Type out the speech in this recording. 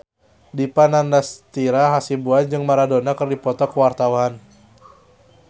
Dipa Nandastyra Hasibuan jeung Maradona keur dipoto ku wartawan